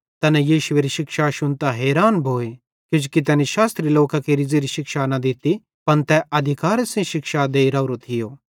तैना यीशुएरी शिक्षा शुन्तां हैरान भोए किजोकि तैनी शास्त्री लोकां केरि ज़ेरी शिक्षा न दित्ती पन तै अधिकारे सेइं शिक्षा देइ राओरो थियो